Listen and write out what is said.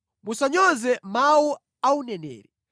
Musanyoze mawu a uneneri.